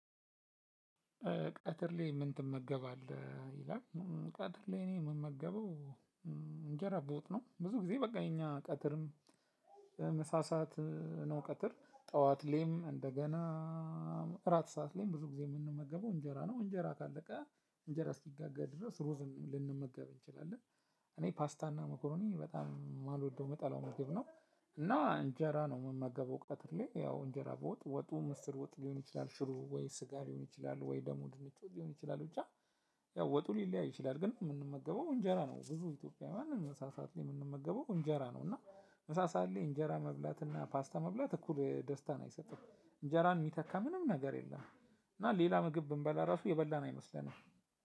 ቀትር ላይ ምን ትመገባለህ? ይላል ቀትር ላይ እኔ የምመገበው እንጀራ በወጥ ነው። ብዙ ጊዜ በቃ የኛ ቀትርም ምሳ ሰዓት ነው። ቀትር ጠዋት ላይም እንደገና አራት ሰዓት ላይም ብዙ ጊዜ የምንመገበው እንጀራ ነው። እንጀራ ካለቀ እንጀራ እስኪጋገር ድረስ ሩዝን ልንመገብ እንችላለን። እኔ ፓስታና መኮሮኒ በጣም የማልወደው ምጠላው ምግብ ነው። እና እንጀራ ነው የምመገበው ቀትር ላይ ያው እንጀራ በወጥ ወጡ ምስር ወጥ ሊሆን ይችላል፣ ሽሮ ወይ፣ ስጋ ሊሆን ይችላል፣ ወይ ደግሞ ድንች ወጥ ሊሆን ይችላል ብቻ ያው ወጡ ሊለያይ ይችላል። ግን የምንመገበው እንጀራ ነው ብዙ ኢትዮጵያዊያን ምሳ ሰዓት ላይ የምንመገበው እንጀራ ነው። እና ምሳ ሰዓት ላይ እንጀራ መብላት እና ፓስታ መብላት እኩል ደስታን አይሰጥም። እንጀራን የሚተካ ምንም ነገር የለም። እና ሌላ ምግብ ብንበላ ራሱ የበላን አይመስለንም።